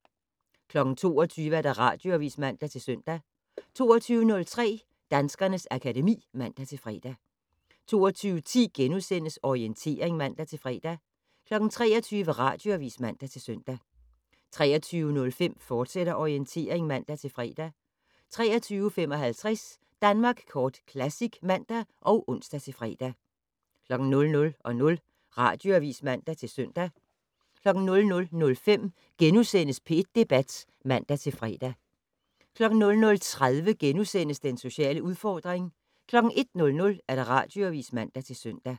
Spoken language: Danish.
22:00: Radioavis (man-søn) 22:03: Danskernes akademi (man-fre) 22:10: Orientering *(man-fre) 23:00: Radioavis (man-søn) 23:05: Orientering, fortsat (man-fre) 23:55: Danmark Kort Classic (man og ons-fre) 00:00: Radioavis (man-søn) 00:05: P1 Debat *(man-fre) 00:30: Den sociale udfordring * 01:00: Radioavis (man-søn)